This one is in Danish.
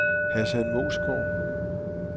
Hassan Moesgaard